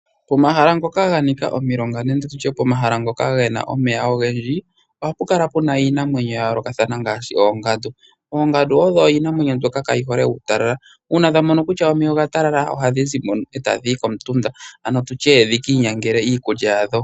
Pomahala ngoka ga nika omilonga nende tutye pomahala ngoka ge na omeya ogendji oha pu kala pu na iinamwenyo yayoolokathana ngaashi oongadu. Oongadu odho iinamwenyo mbyoka kayi hole uutalala. Uuna dha mono kutya omeya oga talala ohadhi zi mo e tadhi yi komutunda, ano tutye dhi kiinyangele iikulya yadho.